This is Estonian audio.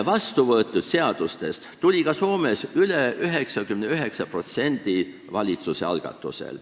Vastuvõetud seadustest oli ka Soomes üle 99% valitsuse algatatud.